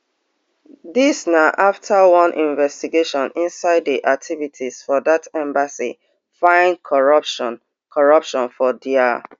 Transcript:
dis na afta one investigation inside di activities for dat embassy find corruption corruption for dia